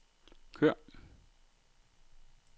kør